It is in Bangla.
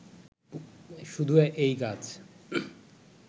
শুধু এই গাছ